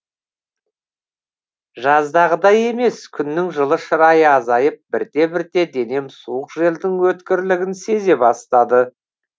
жаздағыдай емес күннің жылы шырайы азайып бірте бірте денем суық желдің өткірлігін сезе бастады